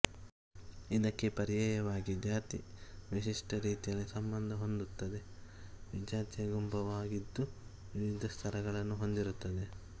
ಇದಕ್ಕೆ ಪರ್ಯಾಯವಾಗಿ ಜಾತಿ ವಿಶಿಷ್ಟ ರೀತಿಯಲ್ಲಿ ಸಂಬಂಧ ಹೊಂದುತ್ತವೆ ವಿಜಾತಿಯ ಗುಂಪಾಗಿದ್ದು ವಿವಿಧ ಸ್ಥರಗಳನ್ನು ಹೊಂದಿರುತ್ತದೆ